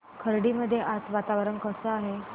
खर्डी मध्ये आज वातावरण कसे आहे